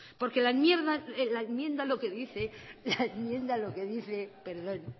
porque la enmienda lo que dice